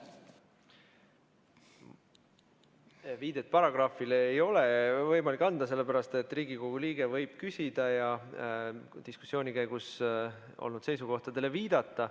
Viidet paragrahvile ei ole võimalik anda, sellepärast et Riigikogu liige võib küsida ja diskussiooni käigus olnud seisukohtadele viidata.